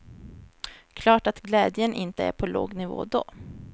Klart att glädjen inte är på låg nivå då.